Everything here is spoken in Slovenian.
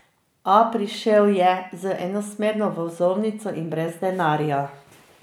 A prišel je z enosmerno vozovnico in brez denarja.